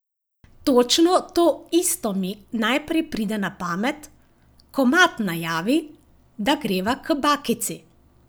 Točno to isto mi najprej pride na pamet, ko mat najavi, da greva k bakici.